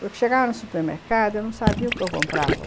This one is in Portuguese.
Porque chegava no supermercado, eu não sabia o que eu comprava.